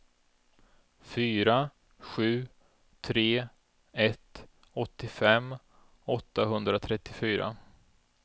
fyra sju tre ett åttiofem åttahundratrettiofyra